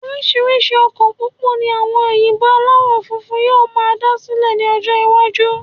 Orísirísi ọkọ̀ pópó ní àwọn òyìnbó alawọ funfun yóò máa dá sílè ni ọjọ iwaju